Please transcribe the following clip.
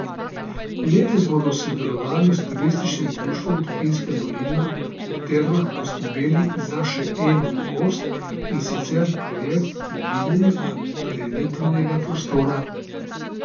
Letos bodo v sodelovanju s Turističnim društvom Tuhinjska dolina v termah poskrbeli za še eno novost, in sicer projekt mobilnega prireditvenega prostora.